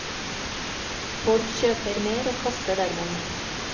Folk kjøper mer og kaster dermed mer.